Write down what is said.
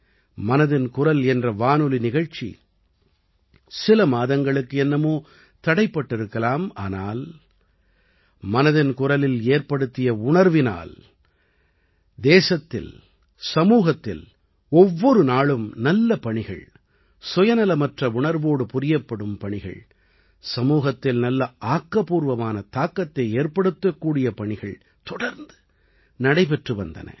மனதின் குரல் என்ற வானொலி நிகழ்ச்சி சில மாதங்களுக்கு என்னமோ தடைப்பட்டிருக்கலாம் ஆனால் மனதின் குரலில் ஏற்படுத்திய உணர்வினால் தேசத்தில் சமூகத்தில் ஒவ்வொரு நாளும் நல்ல பணிகள் சுயநலமற்ற உணர்வோடு புரியப்படும் பணிகள் சமூகத்தில் நல்ல ஆக்கப்பூர்வமான தாக்கத்தை ஏற்படுத்தக்கூடிய பணிகள் தொடர்ந்து நடைபெற்று வந்தன